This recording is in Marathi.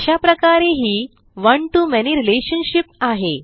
अशाप्रकारे ही one to मॅनी रिलेशनशिप आहे